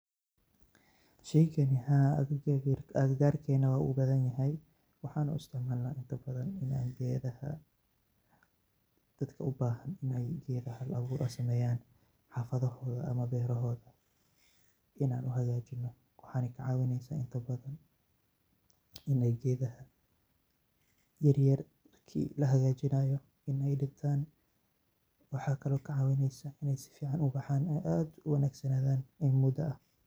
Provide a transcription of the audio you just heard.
Sheeygani haa agakargeena wuu u bathanyahay, waxan isticmalanah intabathan keethaha dada u bahan Ina keethaha Hal abuur sameeyan xafathahotha amah beerahooda waxaykacawineysah Ina keethaha yaryar degtan waxakaali kacaweeneysah Ina keethaha sufican ubaxan in muda.